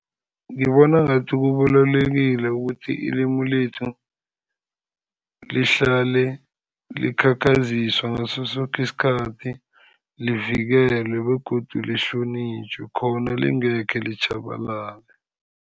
Ngibona ngathi kubalulekile ukuthi ilimu lethu lihlale likhakhaziswa ngasosoke isikhathi, livikelwe begodu lihlonitjhwe khona lingekhe litjhabalale.